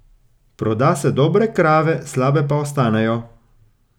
Proda se dobre krave, slabe pa ostanejo.